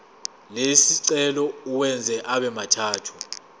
lesicelo uwenze abemathathu